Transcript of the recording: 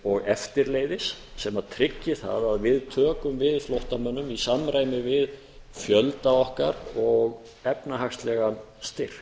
og eftirleiðis sem tryggi það að við tökum við flóttamönnum í samræmi við fjölda okkar og efnahagslegan styrk